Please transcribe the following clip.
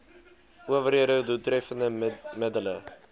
owerhede doeltreffende middele